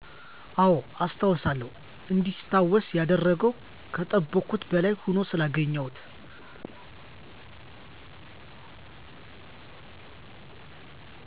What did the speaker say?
አወ አስታውሳለሁ እንዲታወስ ያደረገው ከጠበቅኩት በላይ ሁኖ ስላገኘሁት